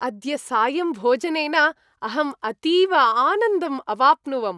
अद्य सायं भोजनेन अहम् अतीव आनन्दम् अवाप्नुवम्।